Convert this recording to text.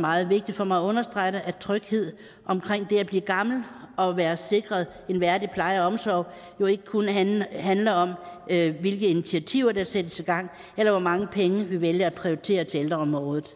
meget vigtigt for mig at understrege at tryghed omkring det at blive gammel og være sikret en værdig pleje og omsorg jo ikke kun handler handler om hvilke initiativer der sættes i gang eller hvor mange penge vi vælger at prioritere til ældreområdet